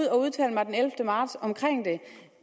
at udtale mig den ellevte marts om det